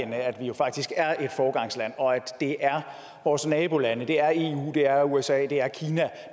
at vi jo faktisk er et foregangsland og at det er vores nabolande det er eu det er usa det er kina